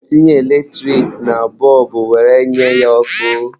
A na-etinye eletrik na bọlbụ were nye ya ọkụ.